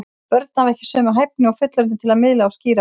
Börn hafa ekki sömu hæfni og fullorðnir til að miðla og skýra frá.